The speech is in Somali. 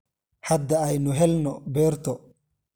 Hadda aynu helno beerto.